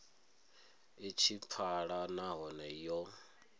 i tshi pfala nahone yo